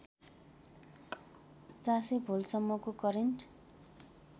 ४०० भोल्टसम्मको करेन्ट